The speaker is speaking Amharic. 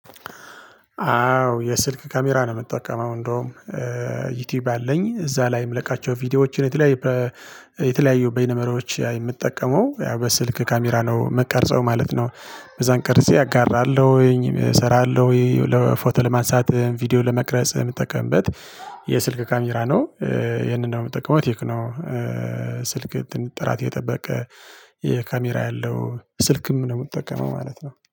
አዎ የስልክ ካሜራ ነው የምጠቀመው እንደውም ዩቲዩብ አለኝ እዛ ላይ ምለቃቸው ቪዲዮዎችን የተለያየ የተለያዩ በይነመረቦች የምጠቀመው ያው በስልክ ካሜራ ነው ምቀርጸው ማለት ነው። ከዛን ቀርጼ አጋራለሁኝ እሰራለሁኝ ለፎቶ ለማንሳት ቪዲዮ ለመቅረጽ የምጠቀምበት የስልክ ካሜራ ነው ይሄንን ነው የምትጠቀመው ቴክኖ ስልክ ጥራት የጠበቀ የካሜራ ያለው ስልክም ነው የምጠቀመው ማለት ነው።